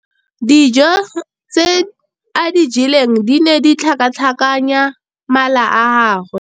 Dijô tse a di jeleng di ne di tlhakatlhakanya mala a gagwe.